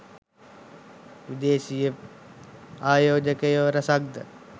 විදේශීය ආයෝජකයෝ රැසක් ද